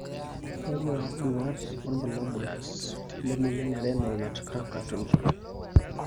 Kakwa bduat wobulabul lemoyian e renal nutcracker syndrome?